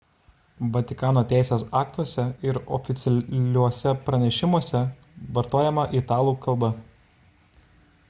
vatikano teisės aktuose ir oficialiuose pranešimuose vartojama italų kalba